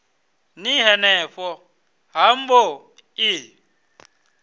ni henefho ha mbo ḓi